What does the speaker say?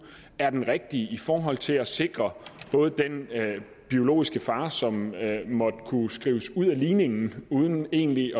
er den rigtige i forhold til at sikre både den biologiske far som måtte kunne skrives ud af ligningen uden egentlig